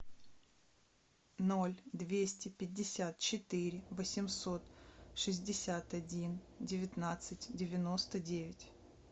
ноль двести пятьдесят четыре восемьсот шестьдесят один девятнадцать девяносто девять